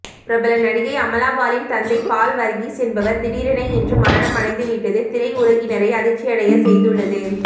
பிரபல நடிகை அமலாபாலின் தந்தை பால் வர்கீஸ் என்பவர் திடீரென இன்று மரணம் அடைந்துவிட்டது திரையுலகினரை அதிர்ச்சியடைய செய்துள்ளது